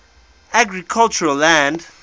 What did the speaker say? agricultural land